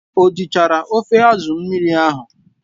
O jichara ofe asụ mmiri ahụ?